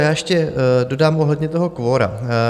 Já ještě dodám ohledně toho kvora.